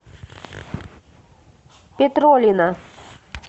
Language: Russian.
петролина